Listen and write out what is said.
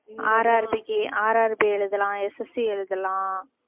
RRB க்கு RRB எழுதலாம் SSC எழுதலாம்